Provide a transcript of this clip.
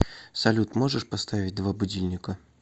салют можешь поставить два будильника